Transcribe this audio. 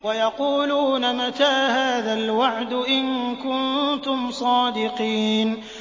وَيَقُولُونَ مَتَىٰ هَٰذَا الْوَعْدُ إِن كُنتُمْ صَادِقِينَ